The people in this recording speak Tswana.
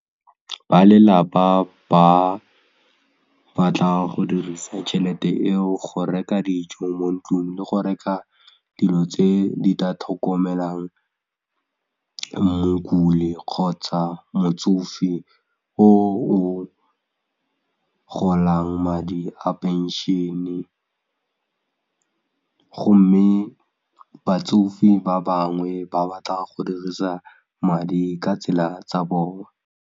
Ba lelapa ba batla go dirisa tšhelete eo go reka dijo mo ntlung le go reka dilo tse di tla tlhokomelang mokule kgotsa motsofe o o golang madi a phenšhene gomme batsofe ba bangwe ba batla go dirisa madi ka tsela tsa bona.